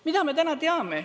Mida me täna teame?